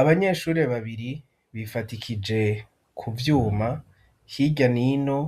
Abanyeshuri babiri bifatikije ku vyuma hirya nino